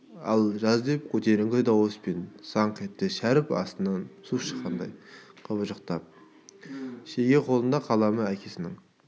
ал жаз деп көтеріңкі дауыспен саңқ етті шәріп астынан су шыққандай қыбыжықтап шеге қолында қаламы әкесінің